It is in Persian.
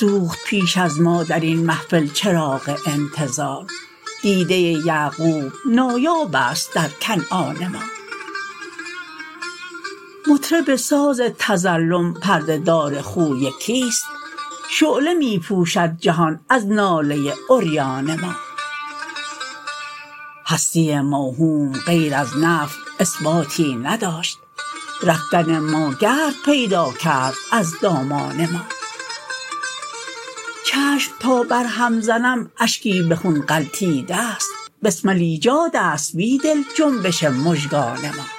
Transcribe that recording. سوخت پیش از ما درین محفل چراغ انتظار دیده یعقوب نایاب است درکنعان ما مطرب ساز تظلم پرده دار خوی کیست شعله می پوشد جهان از ناله عریان ما هستی موهوم غیر از نفی اثباتی نداشت رفتن ماگرد پیداکرد از دامان ما چشم تابرهم زنم اشکی به خون غلتیده است بسمل ایجاد است بیدل جنبش مژگان ما